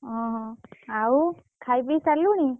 ଓହୋ! ଆଉ, ଖାଇପିଇ ସାରିଲୁଣି?